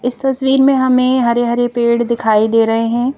इस तस्वीर में हमें हरे-हरे पेड़ दिखाई दे रहे हैं।